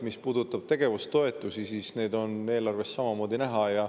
Mis puudutab tegevustoetusi, siis need on eelarves samamoodi näha.